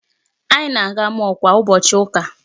Anyị na-aga mall kwa ụbọchị ụka.